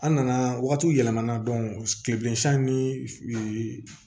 An nana waati yɛlɛma na kileben ni